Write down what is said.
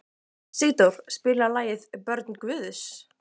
Sigdór, spilaðu lagið „Börn Guðs“.